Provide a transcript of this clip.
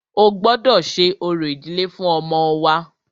O gbọ́dọ ṣe orò ìdílé fún ọmọ wa!